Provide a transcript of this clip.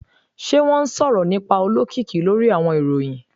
Ṣe wọn sọrọ nipa olokiki lori awọn iroyin?